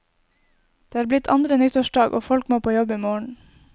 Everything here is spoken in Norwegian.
Det er blitt andre nyttårsdag, og folk må på jobb i morgen.